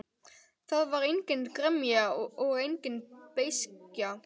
Það var engin gremja og engin beiskja.